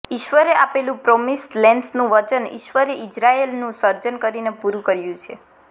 ઈશ્વરે આપેલું પ્રોમિસ્ડ લેન્ડનું વચન ઈશ્વરપુત્રે ઈઝરાયલનું સર્જન કરીને પૂરું કર્યું છે